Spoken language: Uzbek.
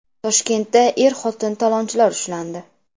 Toshkentda er-xotin talonchilar ushlandi.